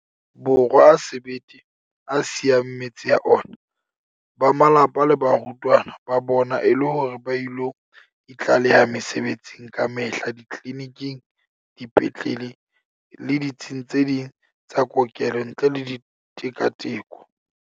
Borwa a sebete a siyang metse ya ona, ba malapa le baratuwa ba bona e le hore ba ilo itlaleha mesebetsing kamehla ditleliniking, dipetlele le ditsing tse ding tsa kokelo ntle le tika-tiko.